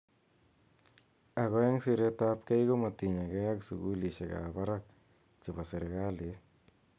Ako ebg siret ap kei komatinyekei ak sukulishek ab barak che bo sirikalit.